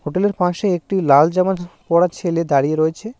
হোটেলের পাশে একটি লাল জামা পরা ছেলে দাঁড়িয়ে রয়েছে।